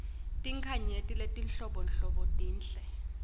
tinkhanyeti letinhlobonhlobo tinhle